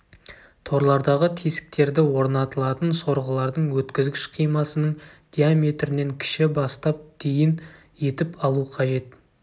торлардағы тесіктерді орнатылатын сорғылардың өткізгіш қимасының диаметрінен кіші бастап дейін етіп алу қажет